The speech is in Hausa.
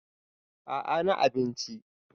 a a na abinci